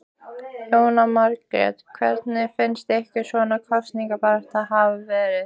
Jóhanna Margrét: Hvernig finnst ykkur svona kosningabaráttan hafa verið?